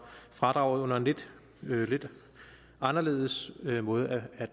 fradraget med en lidt anderledes måde at